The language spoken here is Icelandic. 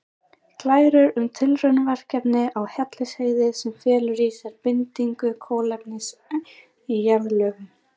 Glærur um tilraunaverkefni á Hellisheiði sem felur í sér bindingu kolefnis í jarðlögum.